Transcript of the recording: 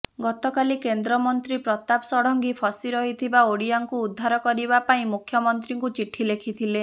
ଗତକାଲି କେନ୍ଦ୍ର ମନ୍ତ୍ରୀ ପ୍ରତାପ ଷଡଙ୍ଗୀ ଫସି ରହିଥିବା ଓଡ଼ିଆଙ୍କୁ ଉଦ୍ଧାର କରିବା ପାଇଁ ମୁଖ୍ୟମନ୍ତ୍ରୀଙ୍କୁ ଚିଠି ଲେଖିଥିଲେ